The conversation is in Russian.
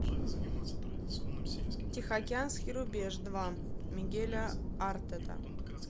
тихоокеанский рубеж два мигеля артета